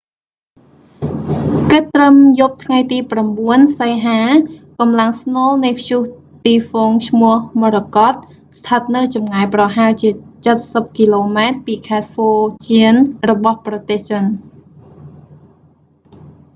គិតត្រឹមយប់ថ្ងៃទី 9 សីហា កម្លាំងស្នូលនៃព្យុះទីហ្វុងឈ្មោះមរកត morakot ស្ថិតនៅចម្ងាយប្រហែលជាចិតសិបគីឡូម៉ែត្រពីខេត្តហ្វូជានរបស់ប្រទេសចិន